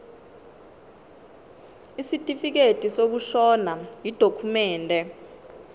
isitifikedi sokushona yidokhumende